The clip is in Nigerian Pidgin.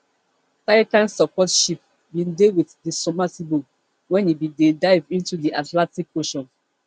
titan support ship bin dey wit di submersible wen e bin dey dive into di atlantic ocean